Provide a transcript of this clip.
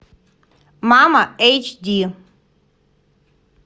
мама эйч ди